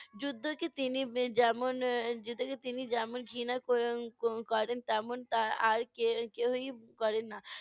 যুদ্ধকে তিনি এর যেমন এর যুদ্ধকে তিনি যেমন ঘৃণা ক~ এর ক~ করেন, তেমন তা আর কে~ কেউই উম করে না।